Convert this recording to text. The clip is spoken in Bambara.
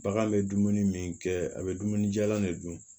Bagan bɛ dumuni min kɛ a bɛ dumuni jalan de dun